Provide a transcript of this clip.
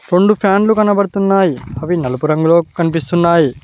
రెండు ఫ్యాన్లు కనబడుతున్నాయి అవి నలుపు రంగులో కానియస్తున్నాయి.